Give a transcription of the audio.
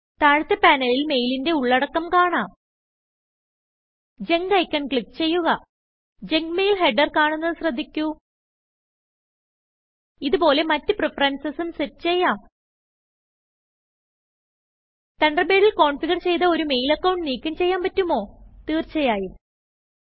താഴത്തെ പാനലിൽ മെയിലിന്റെ ഉള്ളടക്കം കാണാം Junkഐക്കൺ ക്ലിക്ക് ചെയ്യുക ജങ്ക് മെയിൽ headerകാണുന്നത് ശ്രദ്ധിക്കു ഇത് പോലെ മറ്റ് പ്രിഫറൻസസും സെറ്റ് ചെയ്യാം തണ്ടർബെഡിൽ കോൺഫിഗർ ചെയ്ത ഒരു മെയിൽ അക്കൌണ്ട് നീക്കം ചെയ്യാൻ പറ്റുമോ160തിർച്ചയായും